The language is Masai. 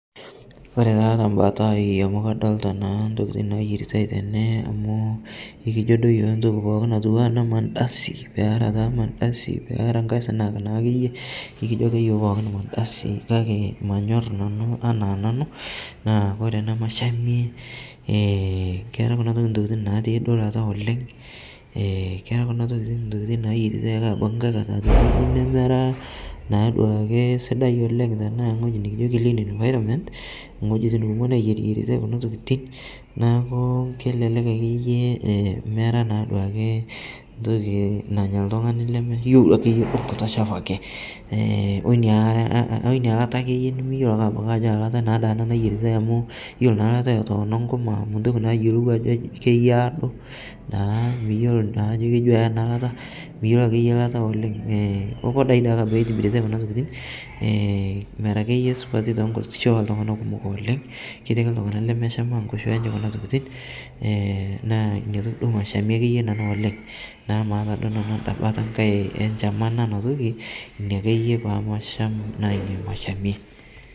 ore taa tebatai amu kadolita taa intokitin naayieritae tene, olmadasi kake manyor nanu enaa nanu kake ore ene mashamie naa keeta kuna tokitin intokitin naa yieriki , tee eweji nikijio clean environment neeku ore kunatokitin kelelek enya oltungani lemeyiolo, ore naa eyiere naado enkima miyiolo ajo keyiaa, mera akeyie sidai too inkoshiak oltunganak kumok neeku ina nanu mashamie.